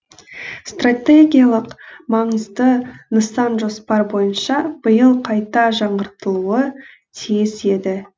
стратегиялық маңызды нысан жоспар бойынша биыл қайта жаңғыртылуы тиіс еді